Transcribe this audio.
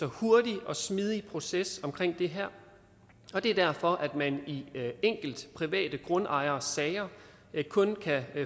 hurtig og smidig proces omkring det her og det er derfor at man i enkelte private grundejersager kun kan